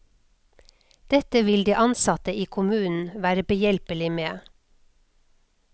Dette vil de ansatte i kommunen være behjelpelige med.